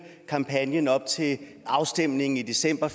kampagnen op til afstemningen i december